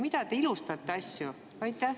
Miks te ilustate asju?